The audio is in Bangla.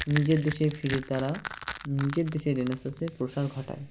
নিজের দেশে ফিরে তারা নিজের দেশে Renaissance -এর প্রসার ঘটায়